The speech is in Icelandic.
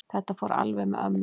Þetta fór alveg með ömmu.